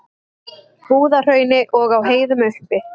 Búðahrauni og á heiðum uppi.